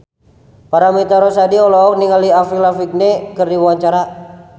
Paramitha Rusady olohok ningali Avril Lavigne keur diwawancara